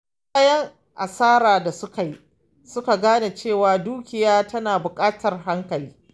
Bayan asarar da suka yi, suka gane cewa dukiya tana buƙatar hankali.